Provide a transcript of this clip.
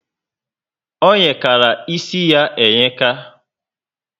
O yekara ísì ya eyeka